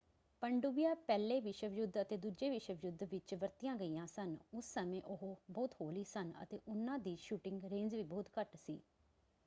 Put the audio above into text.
ਪਣਡੁੱਬੀਆਂ ਪਹਿਲੇ ਵਿਸ਼ਵ ਯੁੱਧ ਅਤੇ ਦੂਜੇ ਵਿਸ਼ਵ ਯੁੱਧ ਵਿੱਚ ਵਰਤੀਆਂ ਗਈਆਂ ਸਨ। ਉਸ ਸਮੇਂ ਉਹ ਬਹੁਤ ਹੌਲੀ ਸਨ ਅਤੇ ਉਹਨਾਂ ਦੀ ਸ਼ੂਟਿੰਗ ਰੇਂਜ ਵੀ ਬਹੁਤ ਘੱਟ ਸੀ।